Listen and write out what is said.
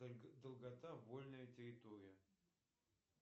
долгота вольная территория